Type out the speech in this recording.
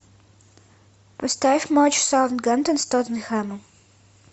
поставь матч саутгемптон с тоттенхэмом